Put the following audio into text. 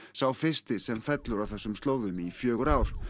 sá fyrsti sem fellur á þessum slóðum í fjögur ár